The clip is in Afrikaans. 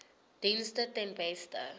dienste ten beste